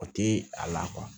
O tɛ a la